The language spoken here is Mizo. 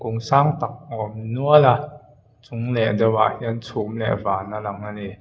kawng sang tak a awm nual a chung leh deuhah hian chhum leh vân a lang a ni.